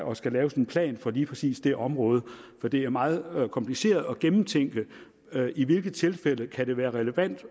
og skal laves en plan for lige præcis det område for det er meget kompliceret at gennemtænke i hvilke tilfælde det kan være relevant